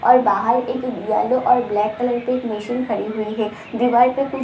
और बाहर एक येलो और ब्लैक कलर पे एक मशीन खड़ी हुई है दीवार पे कुछ --